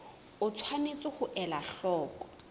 o tshwanetse ho ela hloko